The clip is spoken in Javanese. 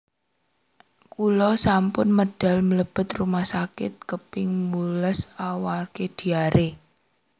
Kulo sampun medal mlebet rumah sakit kaping wolulas amargi diare